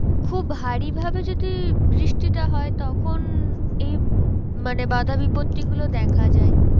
খুব ভারী ভাবে যদি বৃষ্টিটা হয় তখন এই মানে বাধা বিপত্তি গুলো দেখা যায়